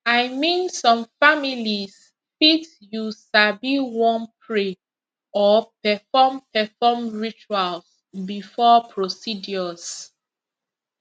i mean some families fit you sabi wan pray or perform perform rituals before procedures